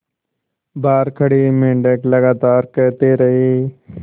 बाहर खड़े मेंढक लगातार कहते रहे